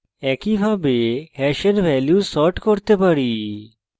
একইভাবে hash value sort করতে পারি